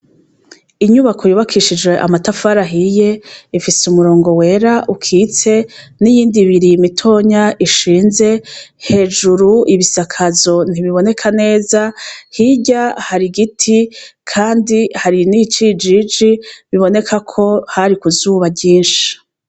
Inyubako yubakishijwe amatafari ahiye , ifise umurongo wera ukitse n'iyindi ibiri mitonya ishize, hejuru ibisakazo ntibiboneka neza ,hirya hari igiti kandi hari n'iciji biboneka ko hari ku zuba ryinshi.